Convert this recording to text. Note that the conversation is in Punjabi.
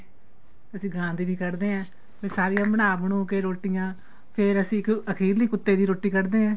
ਅਸੀਂ ਗਾਂ ਦੀ ਵੀ ਕੱਡਦੇ ਆ ਫੇਰ ਸਾਰੀਆਂ ਬਣਾ ਬਣੁ ਕੇ ਰੋਟੀਆਂ ਫੇਰ ਅਸੀਂ ਇੱਕ ਅਖੀਰਲੀ ਕੁੱਤੇ ਦੀ ਰੋਟੀ ਕੱਡਦੇ ਆ